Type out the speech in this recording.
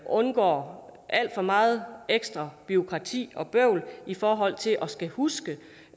undgår alt for meget ekstra bureaukrati og bøvl i forhold til at skulle huske